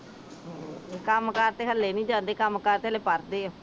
ਕੰਮ ਕਾਰ ਤੇ ਹਲੇ ਨੀ ਜਾਂਦੇ ਕੰਮ ਕਾਰ ਤੇ ਹਲੇ ਪੜ੍ਹਦੇ ਉਹ